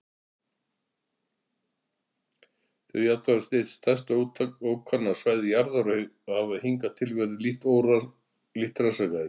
Þeir eru jafnframt eitt stærsta ókannaða svæði jarðar og hafa hingað til verið lítið rannsakað.